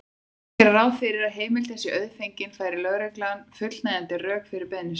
Má gera ráð fyrir að heimildin sé auðfengin færi lögregla fullnægjandi rök fyrir beiðni sinni.